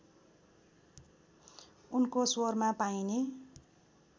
उनको स्वरमा पाइने